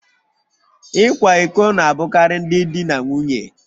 Ịkwa iko na-abụkarị ndị di na nwunye